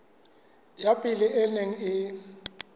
ya pele e neng e